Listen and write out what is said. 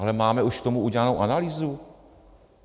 Ale máme už k tomu udělanou analýzu?